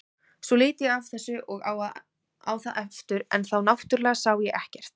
Svo lít ég af þessu og á það aftur en þá náttúrlega sá ég ekkert.